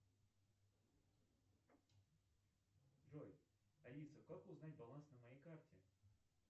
джой алиса как узнать баланс на моей карте